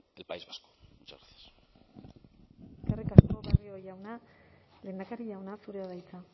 en el país vasco muchas gracias eskerrik asko barrio jauna lehendakari jauna zurea da hitza